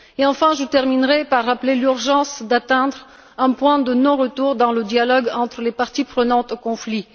Et enfin, je terminerai en rappelant l'urgence d'atteindre un point de non retour dans le dialogue entre les parties prenantes au conflit.